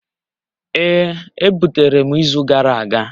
Ee e butere m izu gara aga